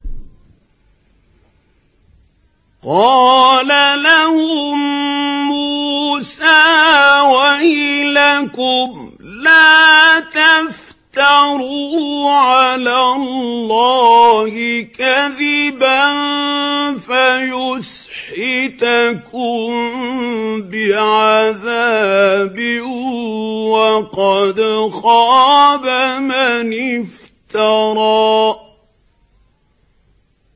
قَالَ لَهُم مُّوسَىٰ وَيْلَكُمْ لَا تَفْتَرُوا عَلَى اللَّهِ كَذِبًا فَيُسْحِتَكُم بِعَذَابٍ ۖ وَقَدْ خَابَ مَنِ افْتَرَىٰ